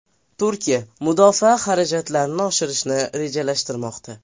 Turkiya mudofaa xarajatlarini oshirishni rejalashtirmoqda.